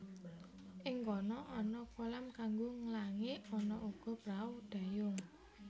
Ing kono ana kolam kanggo nglangi ana uga prahu dayung